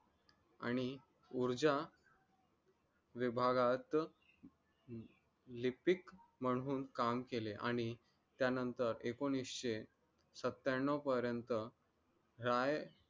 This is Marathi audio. आणि ऊर्जा विभागात lipick म्हणून काम केले आणि त्यानंतर एकोणिशे सत्त्याण्णव पर्यंत राय